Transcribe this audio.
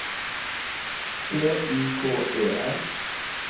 E I K E R